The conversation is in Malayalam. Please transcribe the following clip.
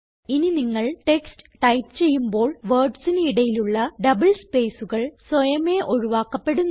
ഇനി നിങ്ങൾ ടെക്സ്റ്റ് ടൈപ്പ് ചെയ്യുമ്പോൾ wordsന് ഇടയിലുള്ള ഡബിൾ സ്പേസ്കൾ സ്വയമേ ഒഴിവാക്കപ്പെടുന്നു